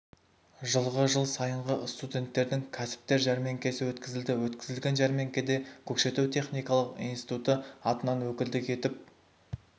жылғы жыл сайынғы студенттердің кәсіптер жармеңкесі өткізілді өткізілген жармеңкеде көкшетау техникалық институты атынан өкілдік етіп